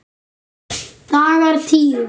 Dagar tíu